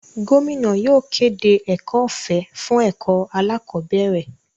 Gómìnà yóò kéde ẹ̀kọ́ ọ̀fẹ́ fún ẹ̀kọ́ alákọ̀bẹ́ẹ́rẹ̀.